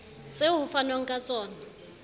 tseo ho fanwang ka tsona